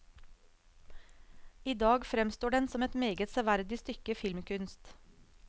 I dag fremstår den som et meget severdig stykke filmkunst.